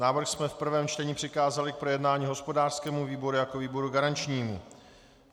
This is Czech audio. Návrh jsme v prvém čtení přikázali k projednání hospodářskému výboru jako výboru garančnímu.